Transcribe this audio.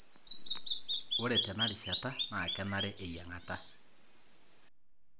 ore tena rishata na kenare eyiangata.